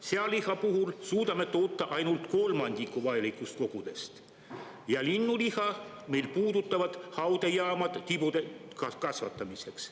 Sealiha puhul suudame toota ainult kolmandiku vajalikust kogusest ja linnuliha meil puudutavad haudejaamad tibude kasvatamiseks.